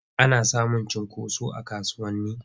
Ana samun cunkoso a kasuwanni.